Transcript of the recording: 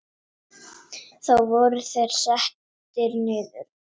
Þá voru þeir settir niður.